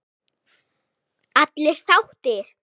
Allir sáttir?